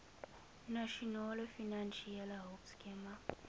nasionale finansiële hulpskema